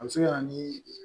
A bɛ se ka na ni